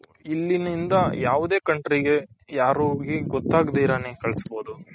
ಇಲ್ಲಿ ನಿಂದ ಯಾವುದೇ country ಗೆ ಯಾರ ಗೊಥಗ್ದಿರಣೆ ಕಲ್ಸ್ಬೌದು .